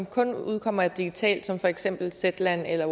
kun udkommer digitalt som for eksempel zetland eller